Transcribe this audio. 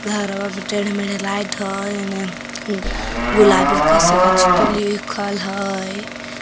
घारवा मे टेढ़ मेढ़ लाइट हय एने गुलाबी से काछे तो लिखल हय।